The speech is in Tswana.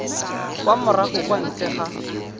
kwa morago kwa ntle ga